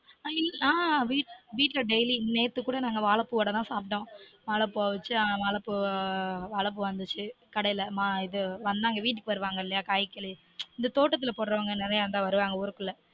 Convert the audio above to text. ஆஹ் வீட்டுல daily நெத்து கூட நாங்க வாழைப்பூ வட தான் சாப்ட்டொம் வாழைப்பூ வந்தச்சு கடைல ஆஹ் இது வீட்டுக்கு வருவாங்க இல்லயா காய்கறி தோட்டத்துல போடுறவங்க நெறய அங்க வருவங்க ஊருக்குள்ள